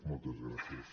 moltes gràcies